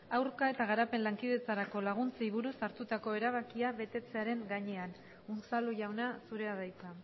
aurka eta garapen lankidetzarako laguntzei buruz hartutako erabakia betetzearen gainean unzalu jauna zurea da hitza